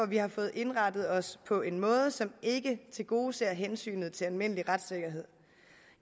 vi har fået indrettet os på en måde som ikke tilgodeser hensynet til almindelig retssikkerhed